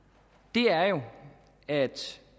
er jo at